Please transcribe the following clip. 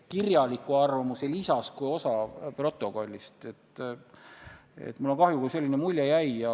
Kui järgmine kord on minister, kes istub selle koha peal, mis on otseselt seotud mingi konkreetse eelnõuga, keegi, kes ütleb, et see on minu laps, siis on tal väga raske otsust teha.